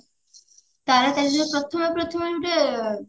ତାରା ତାରେଣୀ ଯଉ ପ୍ରଥମେ ପ୍ରଥମେ ଗୁଟେ